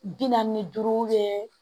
Bi naani ni duuru